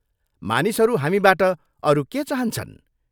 मानिसहरू हामीबाट अरू के चाहन्छन् ?